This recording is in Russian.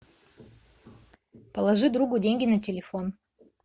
положи другу деньги на телефон